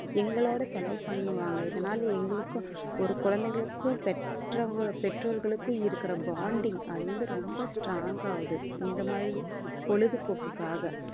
எங்களோட செலவு பண்ணுவாங்க இதனால எங்களுக்கும் ஒரு குழந்தைகளுக்கும் பெற்றவங்க~ பெற்றோர்களுக்கும் இருக்கிற bonding அது வந்து ரொம்ப strong ஆவுது இந்த மாதிரி பொழுதுபோக்குக்காக